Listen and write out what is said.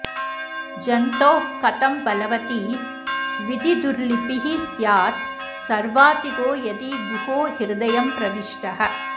जन्तोः कथं बलवती विधिदुर्लिपिः स्यात् सर्वातिगो यदि गुहो हृदयं प्रविष्टः